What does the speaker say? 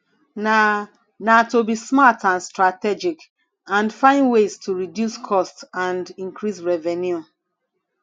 na na to be smart and strategic and find ways to reduce costs and increase revenue